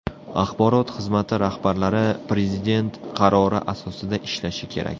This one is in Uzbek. Axborot xizmati rahbarlari Prezident qarori asosida ishlashi kerak.